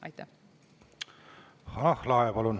Hanah Lahe, palun!